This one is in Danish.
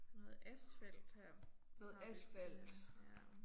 Noget asfalt her. Så har vi denne her ja